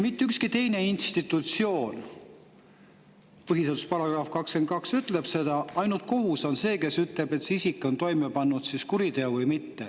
Põhiseaduse § 22 ütleb, et ainult kohus on see, kes ütleb, kas isik on toime pannud kuriteo või mitte.